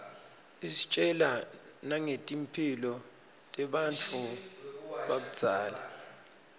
isitjela nangetimphilo tebantfu bakudzala